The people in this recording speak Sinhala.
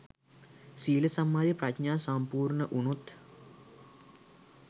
සීල සමාධි ප්‍රඥා සම්පූර්ණ වුණොත්